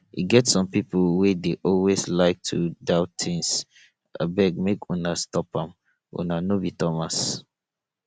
e get some people wey dey always like to doubt things abeg make una stop am una no be thomas